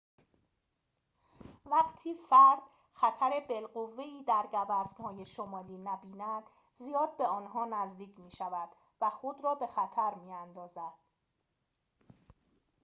وقتی فرد خطر بالقوه‌ای در گوزن‌های شمالی نبیند زیاد به آنها نزدیک می‌شود و خود را به خطر می‌اندازد